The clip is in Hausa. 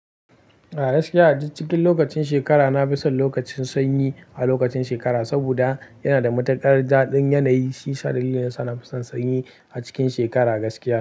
A gaskiya, a duk cikin lokacin shekara, na fi son lokacin sanyi a lokacin shekara saboda yana da matukar daɗin yanayi. Shiyasa dalilin da yasa nafi son sanyi a cikin shekara gaskiya.